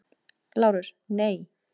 LÁRUS: Nei!